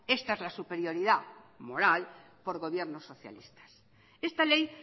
esta es la superioridad moral por gobiernos socialistas esta ley